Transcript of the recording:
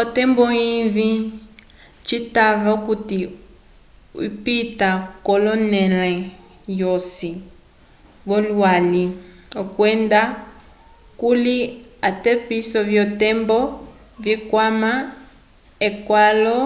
otembo ivĩ citava okuti ipita k'onẽle yosi yolwali kwenda kuli atepiso vyotembo vikwama ekalo